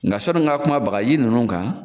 Nka sɔnni n ka kuma bagaji ninnu kan